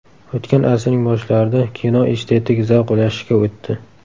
O‘tgan asrning boshlarida kino estetik zavq ulashishga o‘tdi.